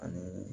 Ani